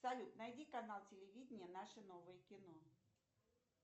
салют найди канал телевидения наше новое кино